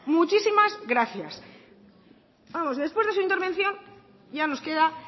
muchísimas gracias vamos después de su intervención ya nos queda